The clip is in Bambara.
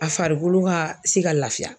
A farikolo ka se ka lafiya.